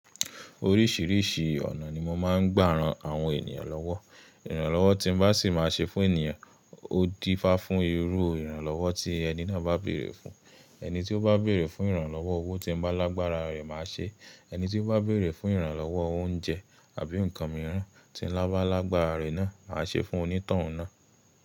Oríṣìíríṣìí ọ̀nà ni mo máa ń gbà ran àwọn ènìyàn lọ́wọ́. Ìrànlọ́wọ́ tí n bá sì máa ṣe fún ènìyàn, ó dí fá fún irú Ìrànlọ́wọ́ tí ẹni náà bá bèrè fún. Ẹni tí ó bá bèrè fún ìrànlọ́wọ́ owó tí n bá lágbára rẹ̀ máa ṣe. Ẹni tí ó bá bèrè fún ìrànlọ́wọ́ oúnjẹ àbí nǹkan mìíràn tí n bá lágbára rẹ̀ náà, màá ṣe fún onítọ̀hún náà.